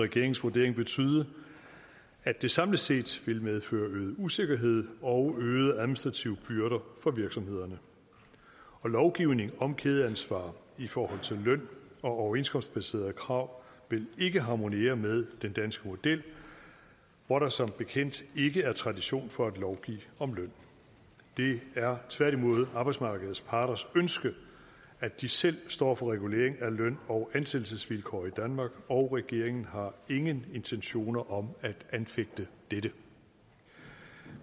regeringens vurdering betyde at det samlet set vil medføre øget usikkerhed og øgede administrative byrder for virksomhederne lovgivning om kædeansvar i forhold til løn og overenskomstbaserede krav vil ikke harmonere med den danske model hvor der som bekendt ikke er tradition for at lovgive om løn det er tværtimod arbejdsmarkedets parters ønske at de selv står for regulering af løn og ansættelsesvilkår i danmark og regeringen har ingen intentioner om at anfægte dette